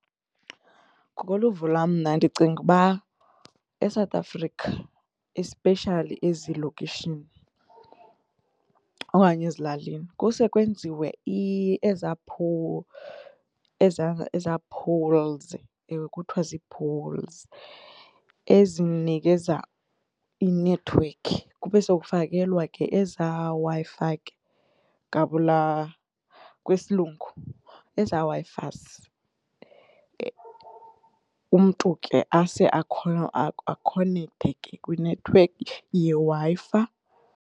Ngokoluvo lwam mna ndicinga uba eSouth Africa especially ezilokishini okanye ezilalini kuse kwenziwe eza eza poles, ewe, kuthiwa zii-poles ezinikeza inethiwekhi kube sokufakelwa ke eza Wi-Fi gabula kwesiLungu eza Wi-Fis umntu ke ase akhonekthe ke kwinethiwekhi yeWi-Fi.